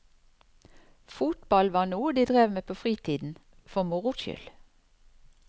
Fotball var noe de drev med på fritiden, for moro skyld.